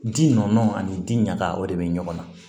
Ji nɔɔni ani ji ɲaga o de bɛ ɲɔgɔn na